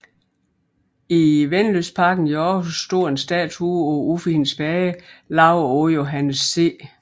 I Vennelystparken i Århus står en statue af Uffe Hin Spage lavet af Johannes C